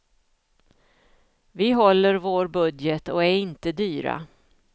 Vi håller vår budget och är inte dyra.